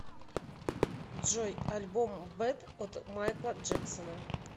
джой альбом бэд от майкла джексона